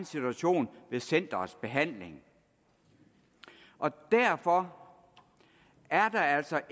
situation ved centerets behandling derfor er der altså